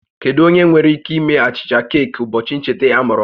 Kedu onye nwere ike ime achịcha keeki ụbọchị ncheta ọmụmụ m?